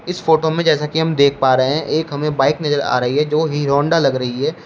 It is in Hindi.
इस फोटो में जैसा कि हम देख पा रहे हैं एक हमें बाइक नजर आ रही है जो हीरो होंडा लग रही है।